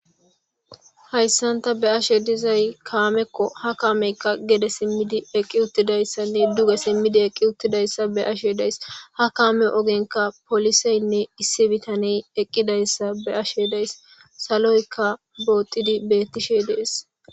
hayssanta be'ashe dizay kaamekko ha kaameykka gede simmidi eqqi uttidayssanne duge simmidi eqqi uttidayssa be'ashe days ha kaame ogenka poliseynne issi bitaney eqqidayssa be'ashe days saloykka bootidi beettishe dees